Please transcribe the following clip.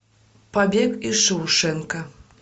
побег из шоушенка